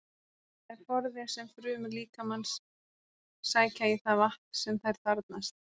Það er forði sem frumur líkamans sækja í það vatn sem þær þarfnast.